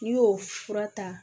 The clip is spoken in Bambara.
N'i y'o fura ta